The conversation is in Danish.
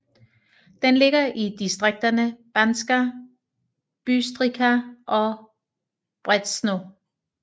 Den ligger i distrikterne Banská Bystrica og Brezno